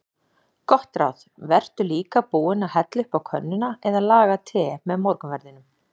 Gott ráð: Vertu líka búinn að hella upp á könnuna eða laga te með morgunverðinum.